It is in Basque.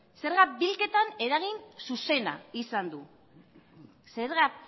zerga bilketan eragin zuzena izan du zergak